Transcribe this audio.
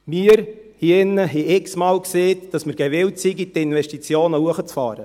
Wir hier drinnen haben x Mal gesagt, dass wir gewillt sind, die Investitionen hochzufahren.